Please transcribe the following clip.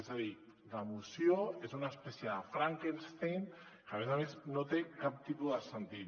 és a dir la moció és una espècie de frankenstein que a més a més no té cap tipus de sentit